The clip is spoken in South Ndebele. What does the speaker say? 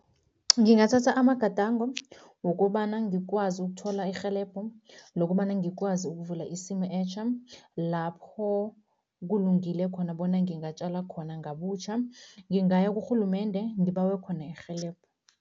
Ngingathatha amagadango wokobana ngikwazi ukuthola irhelebho nokobana ngikwazi ukuvula isimu etjha, lapho kulungile khona bona ngingatjala khona ngabutjha. Ngingaya kurhulumende, ngibawe khona irhelebho.